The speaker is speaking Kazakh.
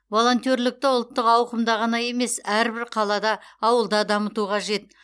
волонтерлікті ұлттық ауқымда ғана емес әрбір қалада ауылда дамыту қажет